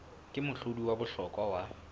ke mohlodi wa bohlokwa wa